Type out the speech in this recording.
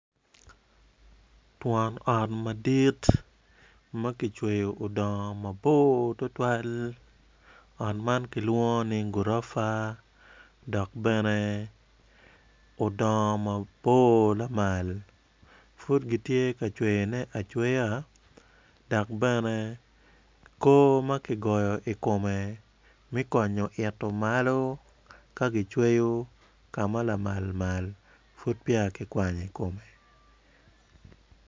Twon ot madit ma kicweyo odong mabor tutwal ot man kilwongo ni gurofa dok bene udongo mabor lamal pud gitye ka cweyone acweya dak bene koo ma ki goyo i komme me konyo itu malo ka kicweyu ka ma lamal mal pud peya ki kwanyo i komme